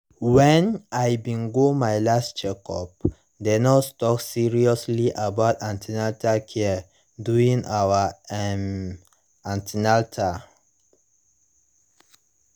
when i bin go my last checkup the nurse talk seriously about an ten atal care during our um an ten atal